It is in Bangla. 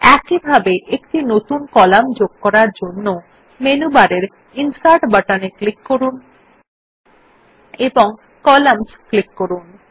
একইভাবে একটি নতুন কলাম যোগ করার জন্য মেনু বারের ইনসার্ট বাটনে ক্লিক করুন এবং কলাম্নস ক্লিক করুন